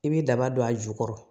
I bɛ daba don a jukɔrɔ